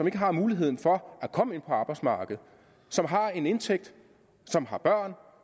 ikke har muligheden for at komme ind på arbejdsmarkedet som har en indtægt som har børn